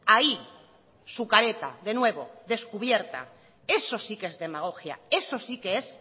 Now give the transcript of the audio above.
ahí su careta de nuevo descubierta eso sí que es demagogia eso sí que es